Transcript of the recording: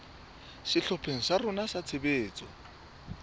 sehlopheng sa rona sa tshebetso